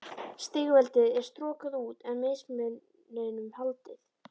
Stigveldið er strokað út, en mismuninum haldið.